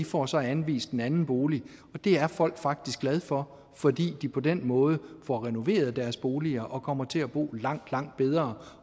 får så anvist en anden bolig og det er folk faktisk glade for fordi de på den måde får renoveret deres boliger og kommer til at bo langt langt bedre